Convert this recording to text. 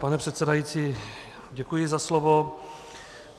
Pane předsedající, děkuji za slovo.